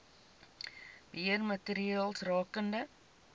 beheer maatreëls rakende